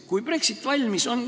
Kui Brexit valmis on ...